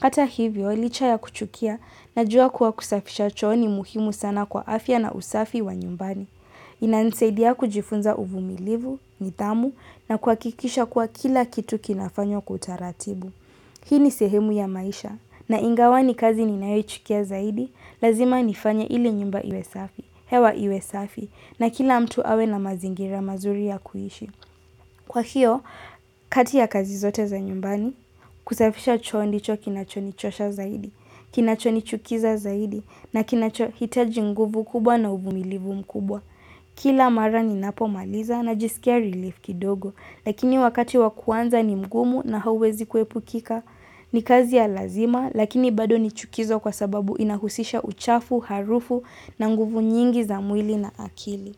Hata hivyo, licha ya kuchukia najua kuwa kusafisha choo ni muhimu sana kwa afya na usafi wa nyumbani. Inanisaidia kujifunza uvumilivu, nidhamu na kuhakikisha kuwa kila kitu kinafanywa kwa utaratibu. Hii ni sehemu ya maisha naingawa ni kazi ninayochukia zaidi, lazima nifanye ili nyumba iwe safi, hewa iwe safi na kila mtu awe na mazingira mazuri ya kuishi. Kwa hiyo, kati ya kazi zote za nyumbani, kusafisha choo ndicho kinachonichosha zaidi, kinachonichukiza zaidi na kinachohitaji nguvu kubwa na uvumilivu mkubwa. Kila mara ninapomaliza na jisikia relief kidogo, lakini wakati wa kuanza ni mgumu na hawezi kuepukika ni kazi ya lazima lakini bado ni chukizo kwa sababu inahusisha uchafu, harufu na nguvu nyingi za mwili na akili.